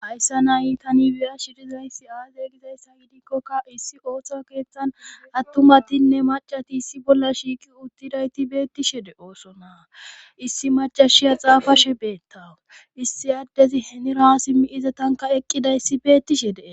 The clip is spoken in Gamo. ayssa nayi tani wiya shidizayssi aaze gizayssa yidikkokka issi ooththa keeththan attumatinne macati issi bolla shiiki uttidayti beettishede oosonaa issi macashiya xaafashe beettaw issi addezi henira simmi iza tanka eqqiday issi beettishe dee